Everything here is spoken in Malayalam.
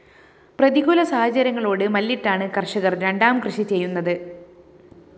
പ്രതികൂല സാഹചര്യങ്ങളോട് മല്ലിട്ടാണ് കര്‍ഷകര്‍ രണ്ടാംകൃഷി ചെയ്യുന്നത്